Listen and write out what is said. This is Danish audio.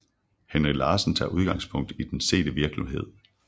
Henry Larsen tager udgangspunkt i den sete virkelighed